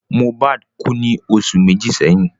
Mohbad kú ní oṣù méjì sẹ́yìn